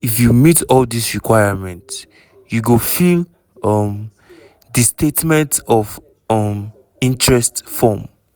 if you meet all dis requirement you go fill um di statement of um interest form.